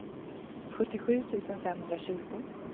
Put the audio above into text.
sjuttiosju tusen femhundratjugo